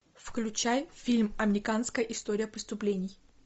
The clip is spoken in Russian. включай фильм американская история преступлений